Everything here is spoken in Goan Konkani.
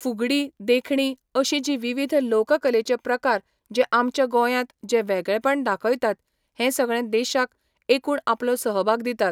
फुगडीं देखणीं अशीं जीं विवीध लोक कलेचे प्रकार जे आमच्या गोंयांत जे वेगळेपण दाखयतात हें सगळें देशाक एकूण आपलो सहभाग दितात